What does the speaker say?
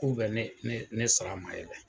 K'u bɛ ne ne sara ma ye dɛ.